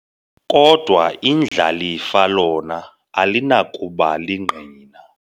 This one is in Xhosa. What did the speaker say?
Kodwa indlalifa lona alinakuba lingqina.